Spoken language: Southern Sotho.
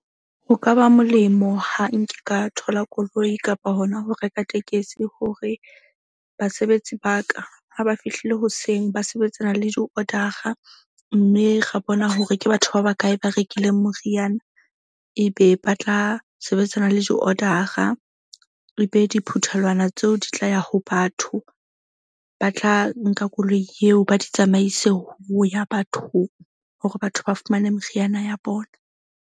Ho ka ba molemo ha nke ka thola koloi kapa hona ho reka tekesi hore basebetsi ba ka ha ba fihlile hoseng, ba sebetsana le di-order-a mme ra bona hore ke batho ba bakae ba rekileng moriana. Ebe ba tla sebetsana le di-order-a e be diphuthelwana tseo di tla ya ho batho ba tla nka koloi yeo ba di tsamaise ho ya bathong. Hore batho ba fumane meriana ya bona.